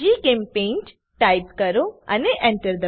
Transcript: જીચેમ્પેઇન્ટ type કરો અને Enter